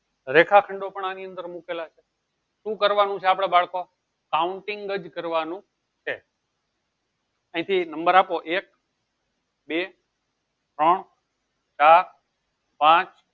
રેખાખંડો આની અંદર મુકેલા છે. સુ કરવાનું છે આપડે બાળકો? counting અહીંથી number આપો એક બે ત્રણ ચાર પાંચ